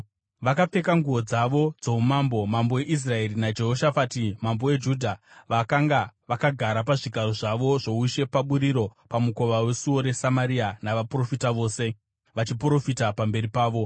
Vakapfeka nguo dzavo dzoumambo, mambo weIsraeri naJehoshafati mambo weJudha vakanga vakagara pazvigaro zvavo zvoushe paburiro pamukova wesuo reSamaria, navaprofita vose vachiprofita pamberi pavo.